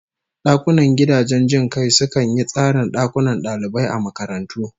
Dakunan gidajen jin kai sukan yi tsarin dakunan dalibai a makarantu